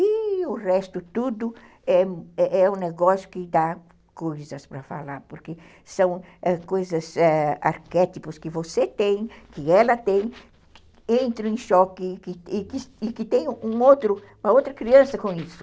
E o resto tudo é um negócio que dá coisas para falar, porque são coisas, arquétipos que você tem, que ela tem, entram em choque e que tem uma outra criança com isso.